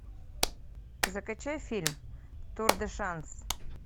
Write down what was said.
закачай фильм тур де шанс